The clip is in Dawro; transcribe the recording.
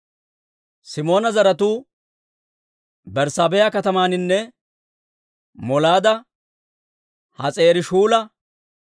Simoona zaratuu Berssaabeha katamaaninne Molaada, Has'aari-Shu'aala,